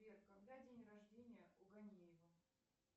сбер когда день рождения у ганеева